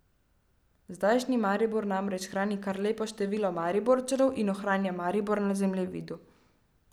Zdajšnji Maribor namreč hrani kar lepo število Mariborčanov in ohranja Maribor na zemljevidu.